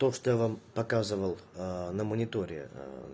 то что я вам показывал на мониторе